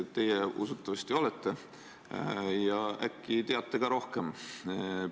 Teie usutavasti olete lugenud ja äkki ka teate sellest rohkem.